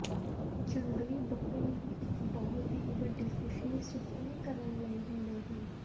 ਜੰਗਲੀ ਬੱਕਰੀ ਨੂੰ ਇੱਕ ਬਹੁਤ ਹੀ ਵੱਡੀ ਖ਼ੁਸ਼ੀ ਸੁਪਨੇ ਕਰਨ ਲਈ ਹੁੰਦੇ ਹਨ